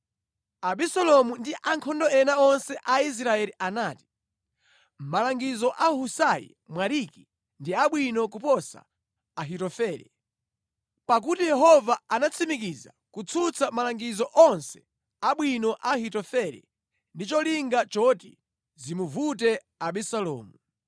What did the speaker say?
Abisalomu ndi ankhondo ena onse a Israeli anati, “Malangizo a Husai Mwariki ndi abwino kuposa a Ahitofele.” Pakuti Yehova anatsimikiza kutsutsa malangizo onse abwino a Ahitofele ndi cholinga choti zimuvute Abisalomu.